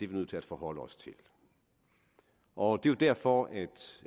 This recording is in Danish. vi nødt til at forholde os til og det er derfor